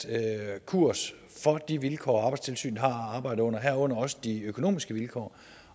kurs for de vilkår arbejdstilsynet har at arbejde under herunder også de økonomiske vilkår